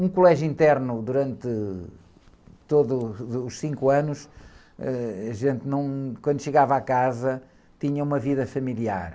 Um colégio interno, durante todos os cinco anos, ãh, a gente não, quando chegava à casa, tinha uma vida familiar.